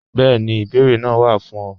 Bẹẹni, ìbèẹrè naa wá fún ọ.